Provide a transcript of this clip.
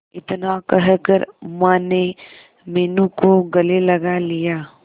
इतना कहकर माने मीनू को गले लगा लिया